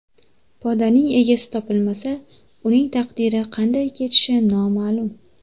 Podaning egasi topilmasa, uning taqdiri qanday kechishi noma’lum.